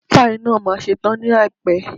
Páì náà ma ṣe tán ní àìpẹ́.